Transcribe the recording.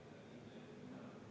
Ettepanek ei leidnud toetust.